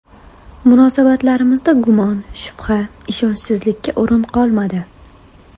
Munosabatlarimizda gumon, shubha, ishonchsizlikka o‘rin qolmadi.